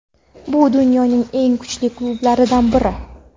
Bu dunyoning eng kuchli klublaridan biri.